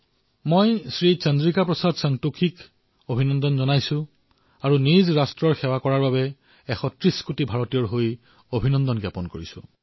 মই শ্ৰী চন্দ্ৰিকা প্ৰসাদ সন্তোষীক অভিনন্দন জনাইছো আৰু নিজৰ ৰাষ্ট্ৰৰ সেৱাৰ বাবে ১৩০ কোটি ভাৰতীয়ৰ তৰফৰ পৰা তেওঁক শুভকামনা জনাইছো